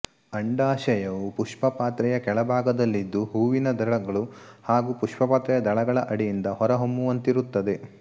ಅಂಡಾಶಯವು ಪುಷ್ಪಪಾತ್ರೆಯ ಕೆಳಭಾಗದಲ್ಲಿದ್ದು ಹೂವಿನ ದಳಗಳು ಹಾಗೂ ಪುಷ್ಪಪಾತ್ರೆಯ ದಳಗಳ ಅಡಿಯಿಂದ ಹೊರಹೊಮ್ಮುವಂತಿರುತ್ತದೆ